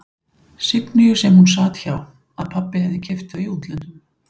Signýju sem hún sat hjá, að pabbi hefði keypt þau í útlöndum.